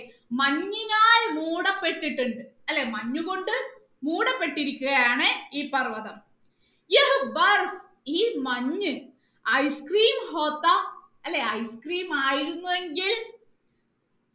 മഞ്ഞിനാൽ മൂടപ്പെട്ടിട്ടുണ്ട് അല്ലെ മഞ്ഞു കൊണ്ട് മൂടപ്പെട്ടിരിക്കുകയാണ് ഈ പർവ്വതം ഈ മഞ്ഞു ice cream അല്ലെ ice cream ആയിരുന്നു എങ്കിൽ